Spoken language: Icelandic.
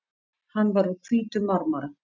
Hann var úr hvítum marmara.